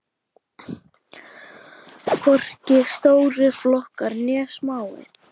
Hvorki stórir flokkar né smáir.